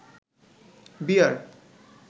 বিয়ার